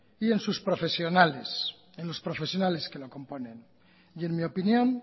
y en sus profesionales que lo componen en mi opinión